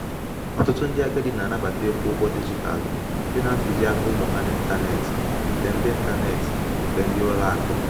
ọtụtụ ndị agadi na-anabata ịkwụ ụgwọ dijitalụ site na ntuziaka ụmụ ha na intaneeti nke ndi intaneeti nke ndi ulo aku